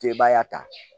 Tebaya ta